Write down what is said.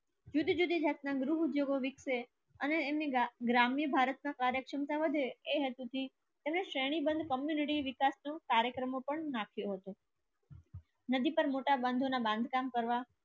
જુદી જુદી જાતના ગૃહ ઉદ્યોગો વિકસે અને એમની ગ્રામની ભારતના કાર્યક્ષમતા વધે. વિકાસનું કાર્યક્રમ પણ નાખ્યો હતો. નદી પર મોટા બાંધવોના બાંધકામ કરવા.